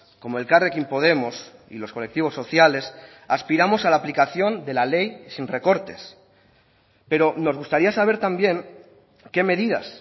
como elkarrekin podemos y los colectivos sociales aspiramos a la aplicación de la ley y sin recortes pero nos gustaría saber también qué medidas